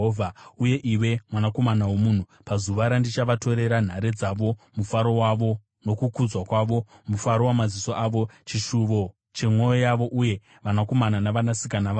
“Uye iwe, mwanakomana womunhu, pazuva randichavatorera nhare dzavo mufaro wavo nokukudzwa kwavo, mufaro wamaziso avo, chishuvo chemwoyo yavo, uye vanakomana navanasikana vavowo,